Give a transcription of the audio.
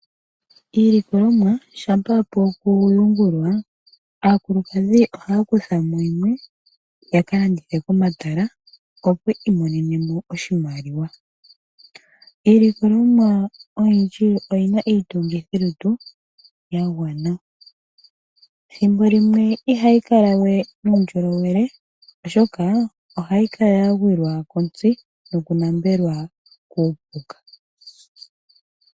Iilikolomwa shampa yapu okuyungulwa aakulukadhi ohaya kuthamo yimwe ya kalandithe komatala yo opo yi imonene mo oshimaliwa. Iilikolomwa oyindji oyina iitungithilutu ya gwana. Thimbo limwe ihayi kala we nuundjolowele oshoka ohayi kala ya gwilwa kontsi nokunambelwa kuupuka.